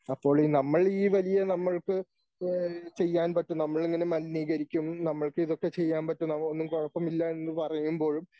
അപ്പോൾ ഈ നമ്മൾ ഈ വലിയ നമ്മൾക്ക് ചെയ്യാൻ പറ്റും നമ്മളിങ്ങനെ മലിനീകരിക്കും നമ്മൾക്ക് ഇതൊക്കെ ചെയ്യാൻ പറ്റും അതൊന്നും കുഴപ്പമില്ല എന്ന് പറയുമ്പോഴും